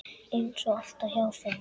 Eins og alltaf hjá þeim.